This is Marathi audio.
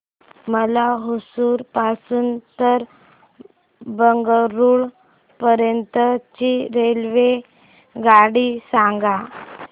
मला होसुर पासून तर बंगळुरू पर्यंत ची रेल्वेगाडी सांगा